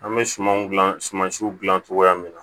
An bɛ sumanw gilan suman siw gilan cogoya min na